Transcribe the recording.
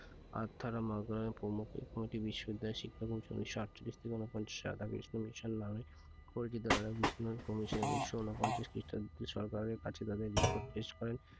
Arthur প্রমুখ এই committee বিশ্ববিদ্যালয় শিক্ষা commission উনিশশো আটচল্লিশ থেকে ঊনপঞ্চাশ নামে পরিচিত রাজা উনিশশো ঊনপঞ্চাশ খ্রিস্টাব্দে সরকারের কাছে তাদের report পেশ করেন।